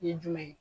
Ye jumɛn ye